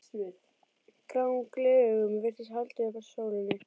Gráum gleraugum virtist haldið upp að sólinni.